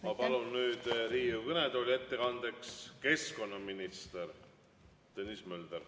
Ma palun nüüd Riigikogu kõnetooli ettekandeks keskkonnaminister Tõnis Möldri.